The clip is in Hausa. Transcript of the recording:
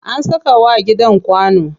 An saka wa gidan kwano.